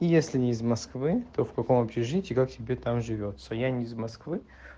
если не из москвы то в каком общежитии и как тебе там живётся я не из москвы